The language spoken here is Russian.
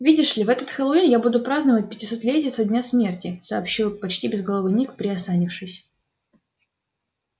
видишь ли в этот хэллоуин я буду праздновать пятисотлетие со дня смерти сообщил почти безголовый ник приосанившись